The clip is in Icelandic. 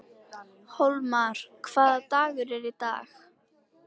Hólmar, hvaða dagur er í dag?